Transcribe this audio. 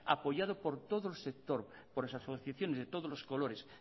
apoyado por todo el sector por las asociaciones de todos los colores